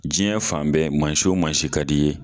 Diɲɛ fan bɛɛ mansi o mansi ka di i ye